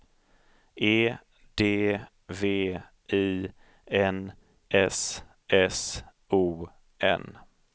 E D V I N S S O N